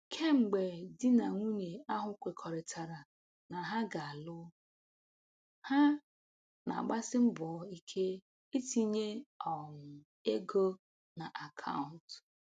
Kemgbe di na nwunye ahụ kwekọrịtara na ha ga-alụ, ha na-agbasi mbọ ike itinye um ego na akaụntụ